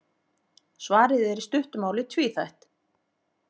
Svarið er í stuttu máli tvíþætt.